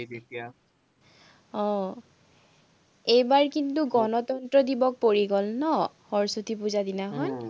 আহ এইবাৰ কিন্তু, গণতন্ত্ৰ দিৱস পৰি গল ন, সৰস্বতী পুজা দিনা